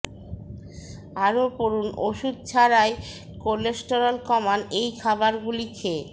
আরও পড়ুন ওষুধ ছাড়াই কোলেস্টেরল কমান এই খাবারগুলি খেয়ে